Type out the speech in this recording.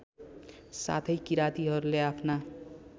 साथै किरातीहरूले आफ्ना